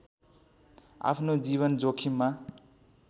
आफ्नो जीवन जोखिममा